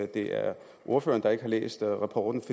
det er ordføreren der ikke har læst rapporten